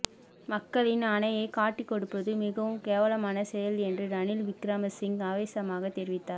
மக்களின் ஆணையை காட்டிக்கொடுப்பது மிகவும் கேவலமான செயல் என்று ரணில் விக்கிரமசிங்க ஆவேசமாகத் தெரிவித்தார்